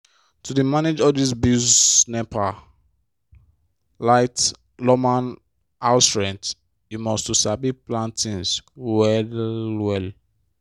to dey manage all dis bills nepa light lawma house rent you must to sabi plan tins well-well.